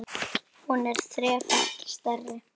Hún er þrefalt stærri.